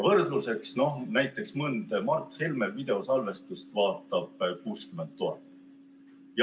Võrdluseks näiteks mõnda Mart Helme videosalvestust vaatab 60 000.